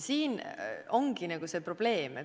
Siin ongi probleem.